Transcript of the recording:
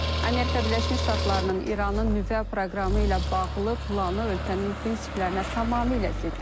Amerika Birləşmiş Ştatlarının İranın nüvə proqramı ilə bağlı planı ölkənin prinsiplərinə tamamilə ziddir.